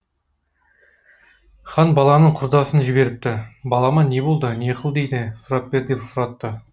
хан баланың құрдасын жіберіпті балама не болды не қыл дейді сұрап бер деп сұратты